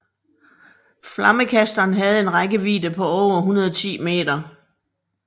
Flammekasteren havde en rækkevidde på over 110 meter